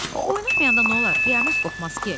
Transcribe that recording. Oynamayanda nə olar, qiyamət qopmaz ki.